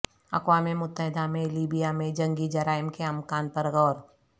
اقوام متحدہ میں لیبیا میں جنگی جرائم کے امکان پر غور